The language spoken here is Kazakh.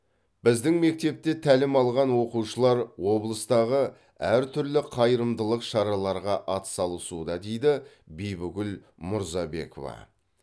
біздің мектепте тәлім алған оқушылар облыстағы әр түрлі қайырымдылық шараларға атсалысуда дейді бибігүл мурзабекова